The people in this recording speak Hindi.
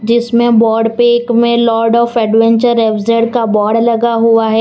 इस में बोर्ड पे एक में lord of adventure F Z का बोर्ड लगा हुआ है।